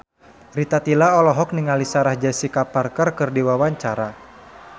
Rita Tila olohok ningali Sarah Jessica Parker keur diwawancara